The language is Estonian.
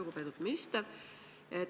Lugupeetud minister!